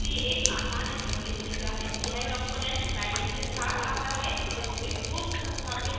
यह component palette के साथ it है जिसमें पूर्व संस्थापित awt और swing components हैं